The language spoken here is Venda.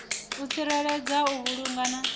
u tsireledza u vhulunga na